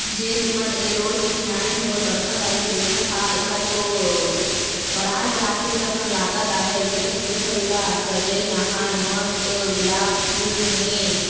जे तुमन ए रोड के किनारे मे एगो बड़का गाड़ी देखत हा एह तो बारात जात हे एकर सन लागत हय केते सुख हे रे एला सजाई नहाए मस्त गुलाब फूल मे---